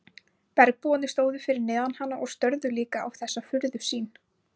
Bergbúarnir stóðu fyrir neðan hana og störðu líka á þessa furðusýn.